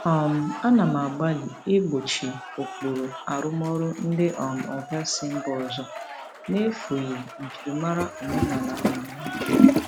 um Ana m agbalị igbochi ụkpụrụ arụmọrụ ndị um oga si mba ọzọ n'efughị njirimara omenala um Naịjirịa.